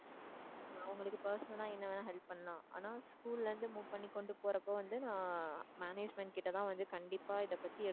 உங்களுக்கு personal ஆ என்ன வேணா help பண்ணலாம் ஆனா school ல இருந்து move பண்ணி கொண்டு போறப்ப வந்து நான் management கிட்டதான் வந்து கண்டிப்பா இதைப்பத்தி